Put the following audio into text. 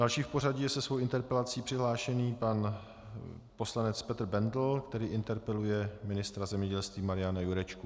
Další v pořadí je se svou interpelací přihlášený pan poslanec Petr Bendl, který interpeluje ministra zemědělství Mariana Jurečku.